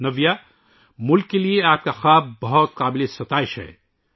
نَویا، ملک کے لئے آپ کا خواب بہت قابل تعریف ہے